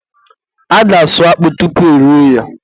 a ga-asụ akpụ tupu erie ya eri.